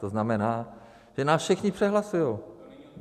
To znamená, že nás všichni přehlasují.